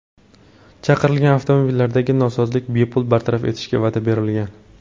Chaqirilgan avtomobillardagi nosozlik bepul bartaraf etishiga va’da berilgan.